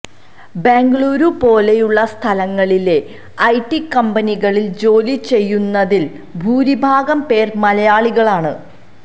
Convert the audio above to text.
ബെംഗളൂരു പോലെയുളള സ്ഥലങ്ങളിലെ ഐടി കമ്പനികളിൽ ജോലി ചെയ്യുന്നതിൽ ഭൂരിഭാഗം പേരും മലയാളികളാണ്